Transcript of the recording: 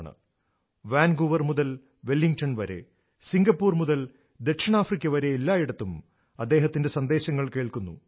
Vancouver Vancouver മുതൽ Wellington വരെ Singapore മുതൽ ദക്ഷിണാഫ്രിക്ക വരെ എല്ലായിടത്തും അദ്ദേഹത്തിന്റെ സന്ദേശങ്ങൾ കേൾക്കുന്നു